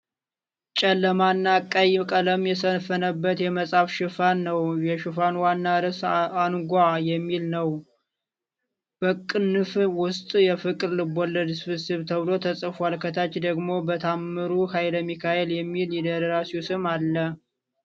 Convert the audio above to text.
ጨለማና ቀይ ቀለም የሰፈነበት የመጽሐፍ ሽፋን ነው። የሽፋኑ ዋና ርዕስ "አንጓ" የሚል ነው። በቅንፍ ውስጥ "የፍቅር ልቦለድ ስብስብ" ተብሎ ተጽፏል። ከታች ደግሞ "በ ታምሩ ሐይለሚካኤል" የሚል የደራሲው ስም አለው።